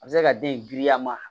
A bɛ se ka den in girinya ma